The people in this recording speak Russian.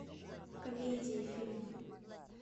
комедии фильмы